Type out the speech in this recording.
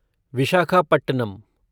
Visakhapatnam